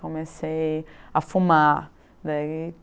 Comecei a fumar. Daí